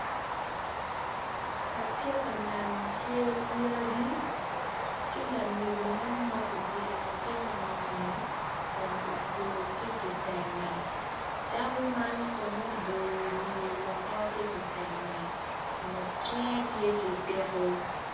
Atye ka neno cel yadi ki lamego ma obyelo latin ingeye kun otweyo ki kitenge dako man kono oboyo wiye woko ki kitenge ngut cinge tye ki tiko.